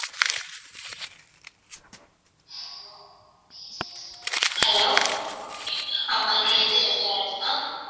hello ஆமா இது AJ restuarent தான்